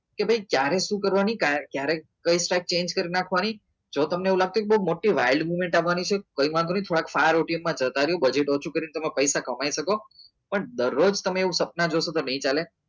કે ભાઈ ત્યારે શું કરવાની તારે ક્યારે કઈ change કરી નાખવાની? જો તમને એવું લાગતું કે બહુ મોટી હા થવાની છે કંઈ વાંધો નહીં તો પૈસા કમાઈ શકો પણ દરરોજ તમે એવા સપના જોશો તો નહીં ચાલે